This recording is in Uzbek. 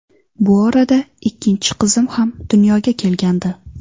Bu orada ikkinchi qizim ham dunyoga kelgandi.